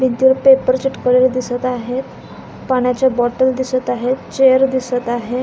भिंतीवर पेपर चिकटवलेले दिसत आहेत पाण्याचे बॉटल दिसत आहेत चेअर दिसत आहे.